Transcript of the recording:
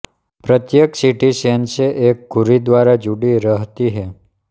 प्रत्येक सीढ़ी चेन से एक धुरी द्वारा जुड़ी रहती है